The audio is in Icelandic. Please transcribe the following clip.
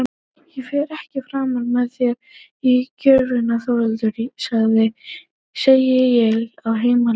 Ég fer ekki framar með þér að gröfinni Þórhildur, segi ég á heimleiðinni.